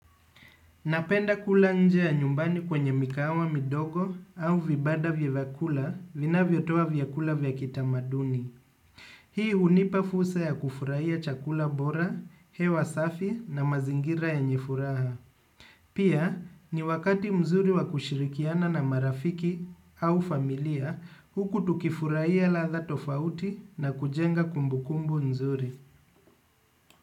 Napenda kula nje ya nyumbani kwenye mikahawa midogo au vibanda vya vakula vinavyotoa vyakula vya kitamaduni. Hii hunipa fursa ya kufurahia chakula bora, hewa safi na mazingira yenye furaha. Pia ni wakati mzuri wa kushirikiana na marafiki au familia huku tukifurahia ladha tofauti na kujenga kumbukumbu mzuri.